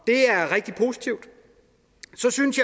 det er rigtig positivt så synes